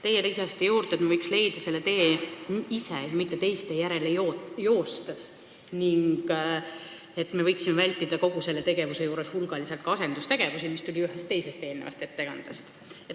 Teie lisasite juurde, et me võiks leida selle tee ise, mitte teiste järele joostes, ning me võiksime kogu selle tegevuse juures vältida asendustegevusi, mis tuli välja ühest teisest eelnevast ettekandest.